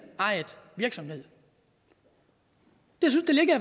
virksomhed det ligger